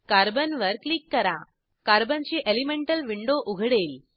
carbon वर click करा कार्बनची एलिमेंटल विंडो उघडेल